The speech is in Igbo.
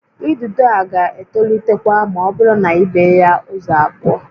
Idido a ga-etolitekwa ma ọ bụrụ na i bee ya ụzọ abụọ